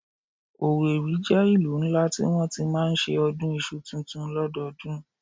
Owerri jẹ́ ìlú ńlá tí wọ́n ti máa ń ṣe ọdún iṣu tuntun lọ́dọọdún